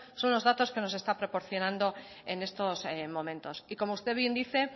son los datos que nos está proporcionando en estos momentos y como usted bien dice